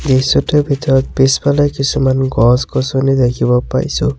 দৃশ্যটোৰ ভিতৰত পিছফালে কিছুমান গছ-গছনি দেখিব পাইছোঁ।